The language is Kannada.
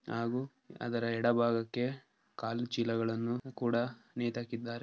ಹಾಗು ಅದರ ಎಡಭಾಗಕ್ಕೆ ಕಾಲುಚೀಲಗಳನ್ನು ಕೂಡ ನೇತಾಕಿದ್ದಾರೆ.